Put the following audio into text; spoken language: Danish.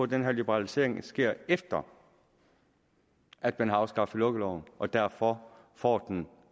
den her liberalisering sker efter at man har afskaffet lukkeloven og derfor får den